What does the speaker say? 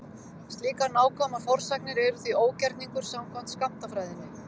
Slíkar nákvæmar forsagnir eru því ógerningur samkvæmt skammtafræðinni.